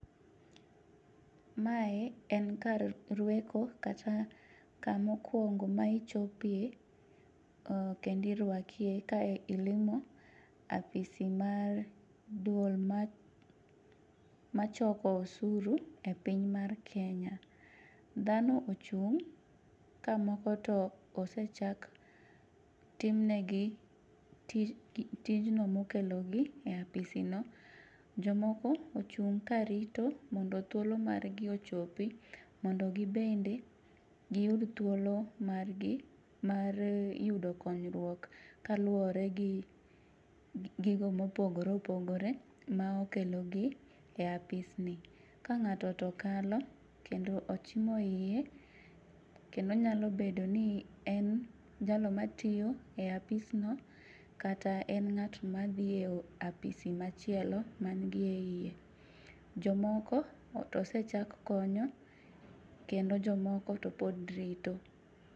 Mae en kar rweko kata kama okwongo ma ichjope, kendo irwakie ka ilimo apis mar dwol machoko osuru e piny mar Kenya. Dhano ochung' ka moko to osechak tim negi tijno mokelogi e apisino. Jomoko ochung' karito mondo thuolo mar gi ochopi, mondo gin bende giyud thuolo margi mar yudo konyruok kaluwore gi gigo mopogore opogore ma okelogi e pisni. Ka ng'ato to kalo kendo ochimo iye, kendo onyalo bedo ni en jalo matiyo e apisno, kata en ng'at mdhi e apis machielo manie iye. Jomoko to osechak konyo kendo jomoko to pod rito.